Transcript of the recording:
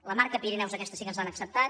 la marca pirineus aquesta sí que ens l’han acceptat